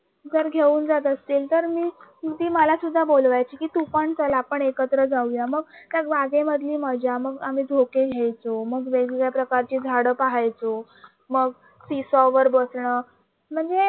जर घेऊन जात असतील तर ती मला पण बोलायची की तू पण चल आपण एकत्र जाऊया मग त्या राजाबागेमधलीमधली मजा मग आम्ही झोके घ्यायचं मग वेगवेगळ्या प्रकारचे झाड पाहायचं मग Seesaw बसण म्हणजे